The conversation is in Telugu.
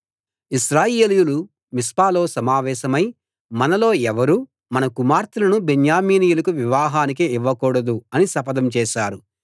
ఇశ్రాయేలీయులు మిస్పాలో సమావేశమై మనలో ఎవరూ మన కుమార్తెలను బెన్యామీనీయులకు వివాహానికి ఇవ్వకూడదు అని శపథం చేశారు